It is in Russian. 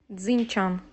цзиньчан